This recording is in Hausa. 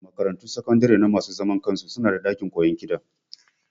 Makaratun sakandare na masu zaman kansu su na da ɗakin koyon kiɗa